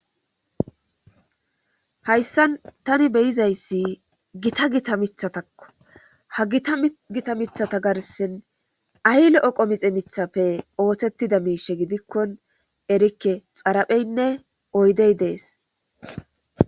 Hayssan tani beyizayssi gita gita mithatakko ha gita gita mithata garsen ahylo oqo mixe mithappe ooththettida miishe gidikkon erikke xarapheynne oydey dees